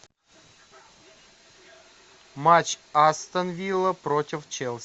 матч астон вилла против челси